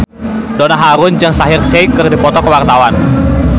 Donna Harun jeung Shaheer Sheikh keur dipoto ku wartawan